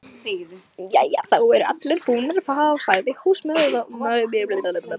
Jæja, þá eru allir búnir að fá, sagði húsmóðirin.